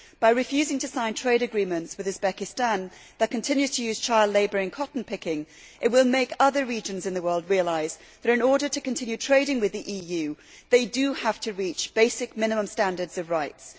By refusing to sign trade agreements with Uzbekistan, which continues to use child labour in cotton picking, it will make other regions in the world realise that, in order to continue trading with the EU, they do have to reach basic minimum standards of rights.